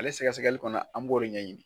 Ale sɛgɛsɛgɛli kɔnɔ an b'o de ɲɛ ɲini